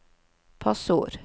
passord